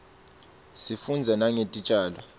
sifundza nangetitjalo